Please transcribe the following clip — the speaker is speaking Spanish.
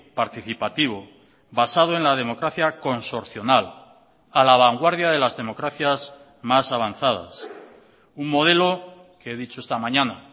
participativo basado en la democracia consorcional a la vanguardia de las democracias más avanzadas un modelo que he dicho esta mañana